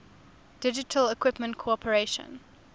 digital equipment corporation